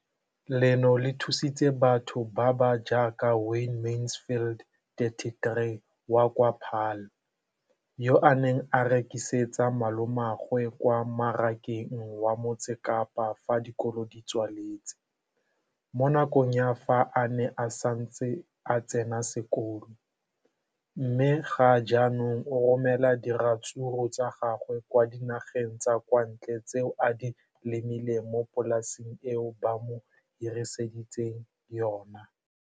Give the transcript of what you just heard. leno le thusitse batho ba ba jaaka Wayne Mansfield, 33, wa kwa Paarl, yo a neng a rekisetsa malomagwe kwa Marakeng wa Motsekapa fa dikolo di tswaletse, mo nakong ya fa a ne a santse a tsena sekolo, mme ga jaanong o romela diratsuru tsa gagwe kwa dinageng tsa kwa ntle tseo a di lemileng mo polaseng eo ba mo hiriseditseng yona.